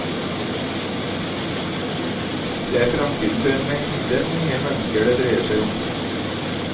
Det er fremtiden for en mengde unge mennesker det dreier seg om.